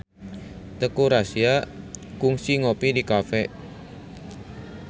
Teuku Rassya kungsi ngopi di cafe